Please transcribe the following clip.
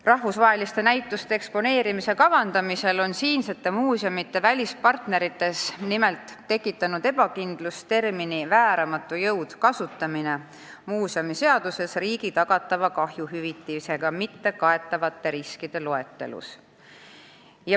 Rahvusvaheliste näituste eksponeerimise kavandamisel on siinsete muuseumide välispartnerites nimelt tekitanud ebakindlust termini "vääramatu jõud" kasutamine muuseumiseaduses riigi tagatava kahjuhüvitisega mittekaetavate riskide loetelus.